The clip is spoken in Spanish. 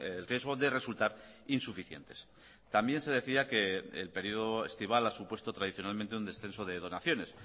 el riesgo de resultar insuficientes también se decía que el periodo estival ha supuesto tradicionalmente un descenso de donaciones